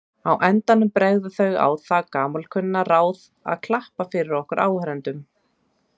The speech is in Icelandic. Á endanum bregða þau á það gamalkunna ráð að klappa fyrir okkur áhorfendum.